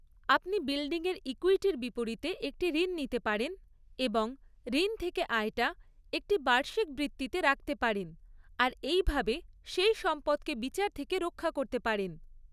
আপনি বিল্ডিংয়ের ইক্যুইটির বিপরীতে একটি ঋণ নিতে পারেন এবং ঋণ থেকে আয়টা একটি বার্ষিক বৃত্তিতে রাখতে পারেন, আর এইভাবে সেই সম্পদকে বিচার থেকে রক্ষা করতে পারেন।